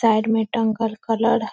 side में टंगल colour ह --